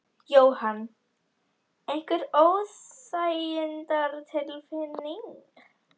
Jóhann: Einhver óþægindatilfinning?